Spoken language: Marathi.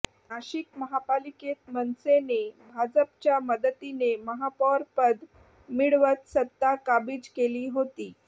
नाशिक महापालिकेत मनसेने भाजपच्या मदतीने महापौरपद मिळवत सत्ता काबिज केली होती